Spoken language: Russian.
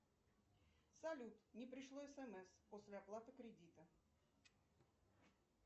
салют не пришло смс после оплаты кредита